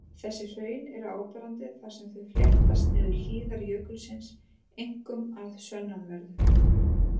Þessi hraun eru áberandi þar sem þau fléttast niður hlíðar jökulsins, einkum að sunnanverðu.